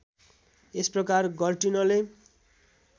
यस प्रकार गर्टिनले